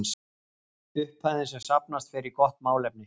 Upphæðin sem safnast fer í gott málefni.